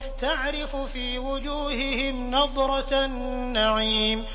تَعْرِفُ فِي وُجُوهِهِمْ نَضْرَةَ النَّعِيمِ